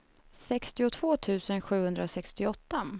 sextiotvå tusen sjuhundrasextioåtta